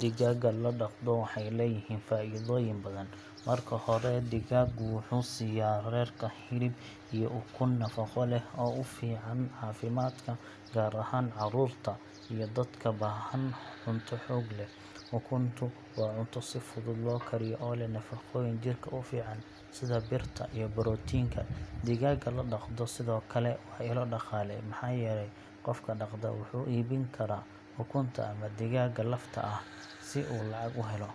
Digaagga la dhaqdo waxay leeyihiin faa’iidooyin badan. Marka hore, digaaggu wuxuu siyaa reerka hilib iyo ukun nafaqo leh oo u fiican caafimaadka, gaar ahaan carruurta iyo dadka baahan cunto xoog leh. Ukuntu waa cunto si fudud loo kariyo oo leh nafaqooyin jirka u fiican sida birta iyo borotiinka. Digaagga la dhaqdo sidoo kale waa ilo dhaqaale, maxaa yeelay qofka dhaqda wuxuu iibin karaa ukunta ama digaagga lafta ah si uu lacag u helo.